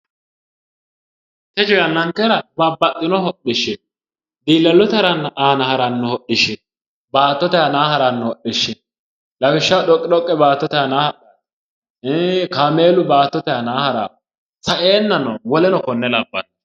Techo yannankera babbaxino hidhishshi no. diilallote aana haranno hodhishshi no baattote aanaa haranno hodhishshi no lawishshaho doqidoqqe baattote aaanaa hadhanno kaameelu baattote aanaa hadhanno. saeenano woleno konne labbanno.